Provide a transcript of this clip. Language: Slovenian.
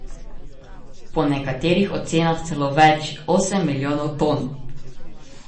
Po nekaterih ocenah celo več, osem milijonov ton.